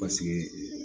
Paseke